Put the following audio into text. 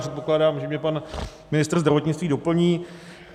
Předpokládám, že mě pan ministr zdravotnictví doplní.